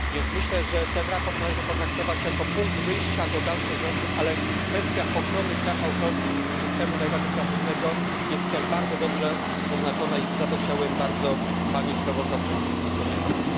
Myślę, że to sprawozdanie należy potraktować jako punkt wyjścia do dalszych rozmów, ale kwestia ochrony praw autorskich i systemu najbardziej kreatywnego jest tutaj bardzo dobrze zaznaczona i za to chciałbym bardzo pani sprawozdawczyni podziękować.